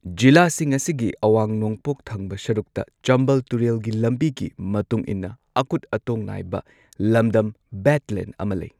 ꯖꯤꯂꯥꯁꯤꯡ ꯑꯁꯤꯒꯤ ꯑꯋꯥꯡ ꯅꯣꯡꯄꯣꯛ ꯊꯪꯕ ꯁꯔꯨꯛꯇ ꯆꯝꯕꯥꯜ ꯇꯨꯔꯦꯜꯒꯤ ꯂꯝꯕꯤꯒꯤ ꯃꯇꯨꯡ ꯏꯟꯅ ꯑꯀꯨꯠ ꯑꯇꯣꯡ ꯅꯥꯏꯕ ꯂꯝꯗꯝ ꯕꯦꯗꯂꯦꯟꯗ ꯑꯃ ꯂꯩ꯫